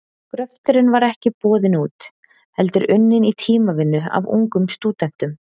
Gröfturinn var ekki boðinn út, heldur unninn í tímavinnu af ungum stúdentum.